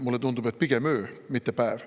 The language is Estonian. Mulle tundub, et pigem öö, mitte päev.